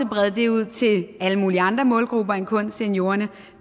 brede det ud til alle mulige andre målgrupper end kun seniorerne